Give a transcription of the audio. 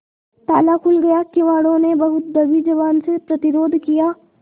ताला खुल गया किवाड़ो ने बहुत दबी जबान से प्रतिरोध किया